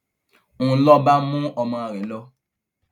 ń lọ bá mú ọmọ rẹ lọ